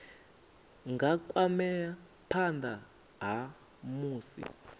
nga kwamea phana ha musi